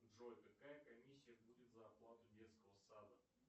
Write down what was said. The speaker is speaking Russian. джой какая комиссия будет за оплату детского сада